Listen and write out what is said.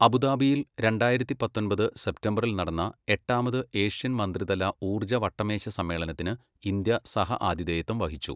അബുദാബിയിൽ രണ്ടായിരത്തി പത്തൊമ്പത് സെപ്റ്റംബറിൽ നടന്ന എട്ടാമത് ഏഷ്യൻ മന്ത്രിതല ഊർജ്ജ വട്ടമേശ സമ്മേളനത്തിന് ഇന്ത്യ സഹ ആതിഥേയത്വം വഹിച്ചു.